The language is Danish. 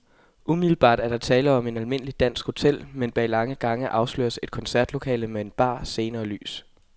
Umiddelbart er der tale om et almindeligt dansk hotel, men bag lange gange afsløres et koncertlokale med bar, scene og lys.